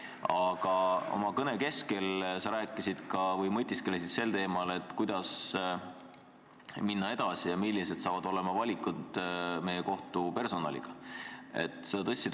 Aga oma kõne keskel sa mõtisklesid sel teemal, kuidas minna edasi ja millised hakkavad olema valikud meie kohtupersonaliga seoses.